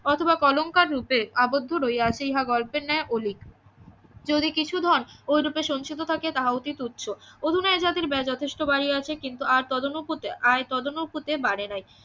অথবা কলঙ্কার রুপে আবদ্ধ রহিয়াছে ইহা গল্পের ন্যায় অলিক যদি কিছু ধন ওই রুপে সঞ্চিত থাকে তাহা অতিত উৎস অধুনা এ জাতির ব্যয় যথেষ্ট বাড়িয়াছে কিন্তু আর তদানুপাতে আয় তদানুপাতে বাড়ে নাই